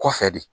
Kɔfɛ de